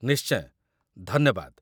ନିଶ୍ଚୟ, ଧନ୍ୟବାଦ ।